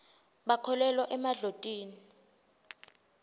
bakholelwa emadlotini